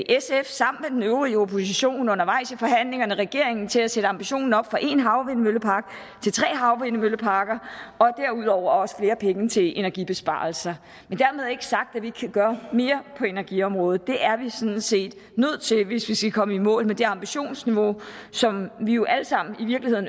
sf sammen med den øvrige opposition undervejs i forhandlingerne regeringen til at sætte ambitionen op fra en havvindmøllepark til tre havvindmølleparker og derudover også til flere penge til energibesparelser men dermed ikke sagt at vi ikke kan gøre mere på energiområdet det er vi sådan set nødt til hvis vi skal komme i mål med det ambitionsniveau som vi jo alle sammen